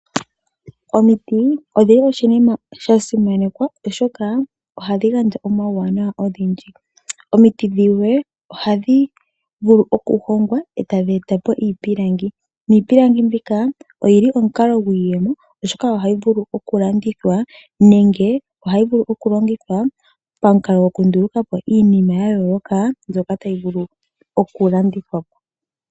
Omiti odho oshinima sha simanekwa oshoka ohadhi gandja omauwanawa ogendji. Omiti dhimwe ohadhi vulu okuhongwa etadhi e ta po iipilangi. Iipilangi mbika oyili omukalo gwiiyemo oshoka oahyi vulu okulandithwa nenge okulongithwa pamukalo gokunduluka po iinima ya yooloka mbyoka tayi vulu oku landithwa po.